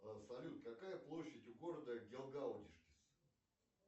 салют какая площадь у города гелгаудишкис